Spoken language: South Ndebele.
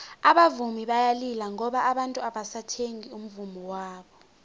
abavumi bayalila ngoba abantu abasathengi umvummo wabo